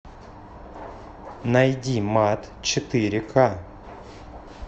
найди мат четыре ка